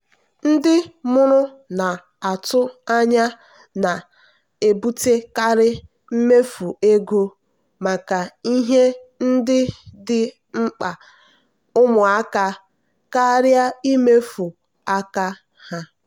ndị mụrụ na-atụ anya na-ebutekarị mmefu ego maka ihe ndị ndị dị mkpa ụmụaka karịa mmefu aka ha.